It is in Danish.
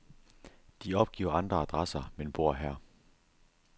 De opgiver andre adresser, men bor her.